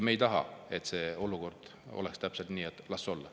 Me ei taha, et see olukord jääks püsima, et las ta olla.